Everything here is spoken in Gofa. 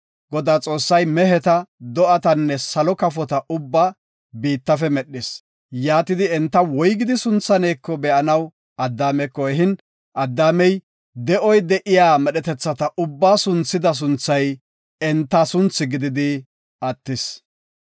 Godaa Xoossay meheta, do7atanne salo kafota ubbaa biittafe medhis. Yaatidi, enta woygidi sunthaneko be7anaw Addaameko ehin, Addaamey de7oy de7iya medhetetha ubbaa sunthida sunthay enta sunthi gididi attis.